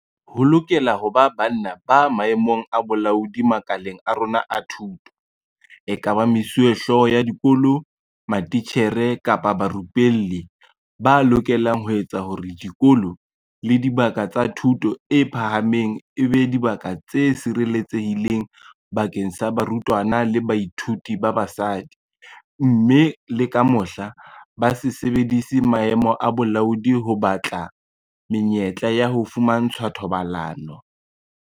Ho lokela ho ba banna ba maemong a bolaodi makaleng a rona a thuto, ekaba mesuwehlooho ya dikolo, matitjhere kapa barupelli, ba lokelang ho etsa hore dikolo le dibaka tsa thuto e phahameng e be dibaka tse sireletsehileng bakeng sa barutwana le bathuiti ba basadi, mme le ka mohla, ba se sebedise maemo a bolaodi ho batla menyetla ya ho fumantshwa thobalano.